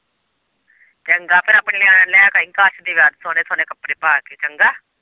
ਚੰਗਾ ਫੇਰ ਆਪਣੇ ਨਿਆਣਿਆਂ ਨੂੰ ਲੈ ਕੇ ਆਈ ਕਾਸ਼ ਦੇ ਵਿਆਹ ਤੇ ਸੋਹਣੇ-ਸੋਹਣੇ ਕੱਪੜੇ ਪਾ ਕੇ ਚੰਗਾ।